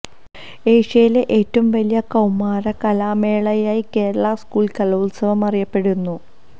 ഏഷ്യയിലെ ഏറ്റവും വലിയ കൌമാര കലാമേളയായി കേരള സ്കൂൾ കലോത്സവം അറിയപ്പെടുന്നു